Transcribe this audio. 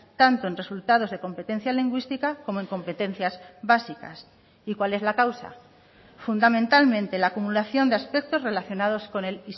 tanto en resultados de competencia lingüística como en competencias básicas y cuál es la causa fundamentalmente la acumulación de aspectos relacionados con el